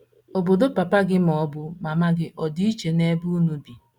Obodo papa gị ma ọ bụ mama gị ọ̀ dị iche n’ebe unu bi?